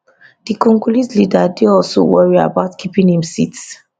di congolese leader dey also worry about keeping im seat